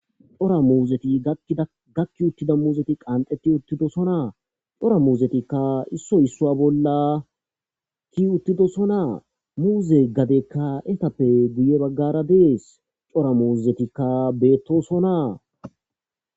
Cora muuzeti gakki gakki uttida gakki uttida muuzeti qanxeti uttidosonaa. Cora muuzetikka issoy issua bolla ki uttidosonaa muuze gadekka etappe guye baggara dees cora muuzetikka beettosonaa.